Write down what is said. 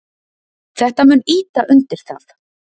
Þetta mun ýta undir það.